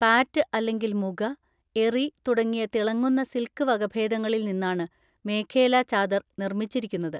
പാറ്റ് അല്ലെങ്കിൽ മുഗ, എറി തുടങ്ങിയ തിളങ്ങുന്ന സിൽക്ക് വകഭേദങ്ങളിൽ നിന്നാണ് മേഖേല ചാദർ നിർമ്മിച്ചിരിക്കുന്നത്.